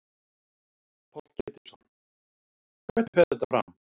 Páll Ketilsson: Hvernig fer þetta fram?